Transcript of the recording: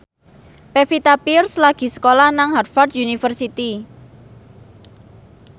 Pevita Pearce lagi sekolah nang Harvard university